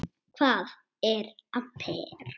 Hvað er amper?